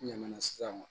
N ɲana sisan